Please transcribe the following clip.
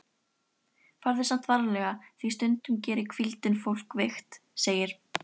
Farðu samt varlega því stundum gerir hvíldin fólk veikt, segir